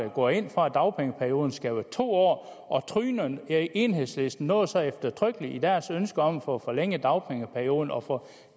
går ind for at dagpengeperioden skal være to år og tryner enhedslisten noget så eftertrykkeligt i deres ønsker om at få forlænget dagpengeperioden og få